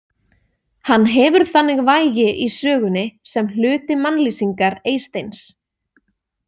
Hann hefur þannig vægi í sögunni sem hluti mannlýsingar Eysteins.